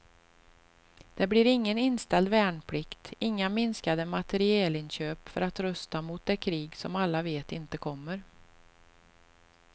Det blir ingen inställd värnplikt, inga minskade materielinköp för att rusta mot det krig som alla vet inte kommer.